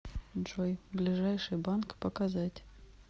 джой ближайший банк показать